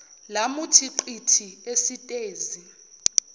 lamuthi qithi esitezi